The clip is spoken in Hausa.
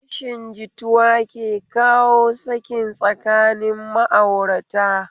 Rashin jituwa ke kawo sakin tsakanin ma'aurata